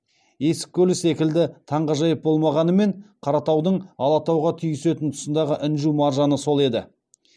есік көлі секілді таңғажайып болмағанымен қаратаудың алатауға түйісетін тұсындағы інжу маржаны сол еді